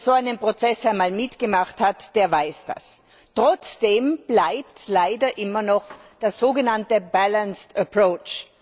Wer so einen Prozess einmal mitgemacht hat, der weiß das. Trotzdem bleibt leider immer noch der sogenannte balanced approach